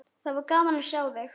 Það var gaman að sjá þig.